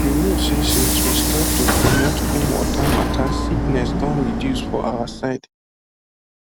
you know say since we start to promote clean water matter sickness don reduce for our side